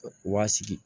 U b'a sigi